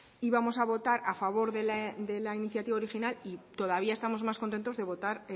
íbamos a votar a favor de la iniciativa original y todavía estamos más contentos de votar